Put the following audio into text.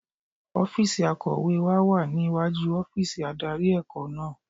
Ọ́fíìsì akọ̀wé wa wà ní iwájú ọ́fíìsì adarí ẹ̀kọ́ náà.